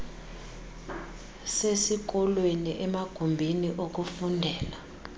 sesikolweni emagumbini okufundela